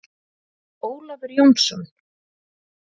Ólafur Jónsson.